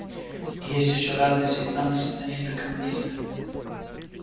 и есть ещё разные сектанты сатанисты коммунисты